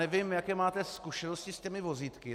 Nevím, jaké máte zkušenosti s těmi vozítky.